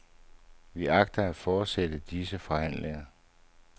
Vi agter at fortsætte disse forhandlinger.